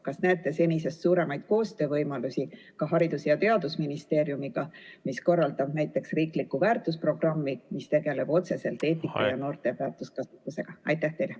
Kas te näete senisest suuremaid koostöövõimalusi ka Haridus- ja Teadusministeeriumiga, kes korraldab näiteks riiklikku väärtusprogrammi, mis tegeleb otseselt eetika ja noorte väärtuskasvatusega?